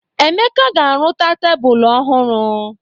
Emeka ga-arụta tebulu ọhụrụ.